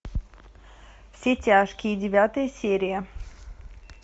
все тяжкие девятая серия